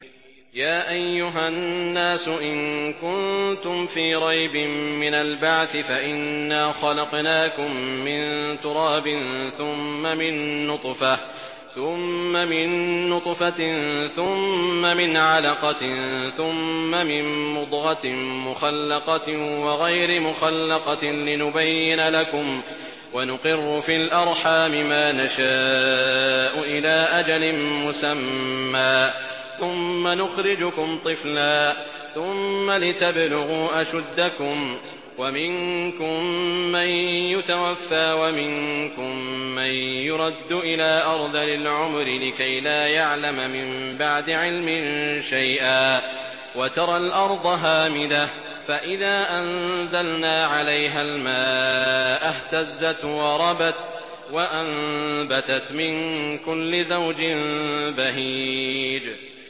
يَا أَيُّهَا النَّاسُ إِن كُنتُمْ فِي رَيْبٍ مِّنَ الْبَعْثِ فَإِنَّا خَلَقْنَاكُم مِّن تُرَابٍ ثُمَّ مِن نُّطْفَةٍ ثُمَّ مِنْ عَلَقَةٍ ثُمَّ مِن مُّضْغَةٍ مُّخَلَّقَةٍ وَغَيْرِ مُخَلَّقَةٍ لِّنُبَيِّنَ لَكُمْ ۚ وَنُقِرُّ فِي الْأَرْحَامِ مَا نَشَاءُ إِلَىٰ أَجَلٍ مُّسَمًّى ثُمَّ نُخْرِجُكُمْ طِفْلًا ثُمَّ لِتَبْلُغُوا أَشُدَّكُمْ ۖ وَمِنكُم مَّن يُتَوَفَّىٰ وَمِنكُم مَّن يُرَدُّ إِلَىٰ أَرْذَلِ الْعُمُرِ لِكَيْلَا يَعْلَمَ مِن بَعْدِ عِلْمٍ شَيْئًا ۚ وَتَرَى الْأَرْضَ هَامِدَةً فَإِذَا أَنزَلْنَا عَلَيْهَا الْمَاءَ اهْتَزَّتْ وَرَبَتْ وَأَنبَتَتْ مِن كُلِّ زَوْجٍ بَهِيجٍ